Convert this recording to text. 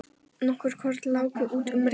Nokkur korn láku út um rifuna.